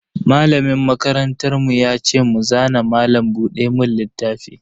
Malamin makarantar mu ya ce mu zana malam buɗe mun littafi.